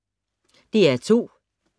DR P2